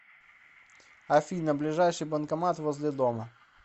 афина ближайший банкомат возле дома